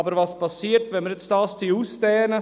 Aber was passiert, wenn wir das jetzt ausdehnen?